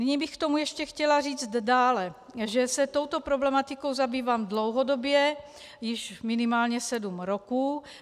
Nyní bych k tomu ještě chtěla říct dále, že se touto problematikou zabývám dlouhodobě, již minimálně sedm roků.